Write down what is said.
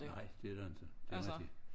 Nej det er det ikke det rigtig